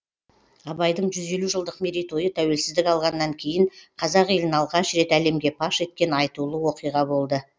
абайдың жүз елу жылдық мерейтойы тәуелсіздік алғаннан кейін қазақ елін алғаш рет әлемге паш еткен айтулы оқиға болды